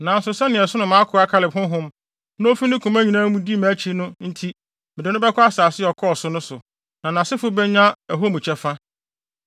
Nanso sɛnea ɛsono mʼakoa Kaleb honhom na ofi ne koma nyinaa mu di mʼakyi no nti mede no bɛkɔ asase a ɔkɔɔ so no so, na nʼasefo benya ɛhɔ mu kyɛfa.